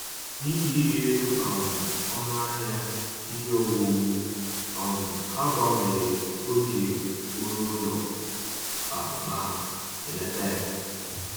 N’ihi ịrị elu um ọnụ ahịa ihe owuwu, um ha gbanwere oge oru ụlọ a ma belata ya